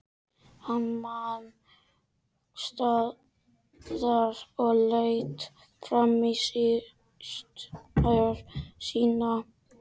Hann nam staðar og leit framan í systur sína.